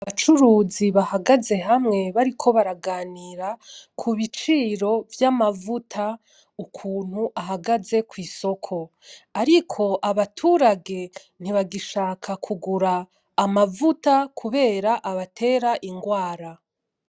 Abacuruzi bahagaze hamwe bariko baraganira ku biciro vy'amavuta ukuntu ahagaze kw'isoko, ariko abaturage ntibagishaka kugura amavuta kubera abatera ingwara.